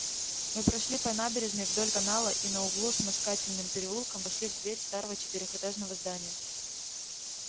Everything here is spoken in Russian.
мы прошли по набережной вдоль канала и на углу с москательным переулком вошли в дверь старого четырёхэтажного здания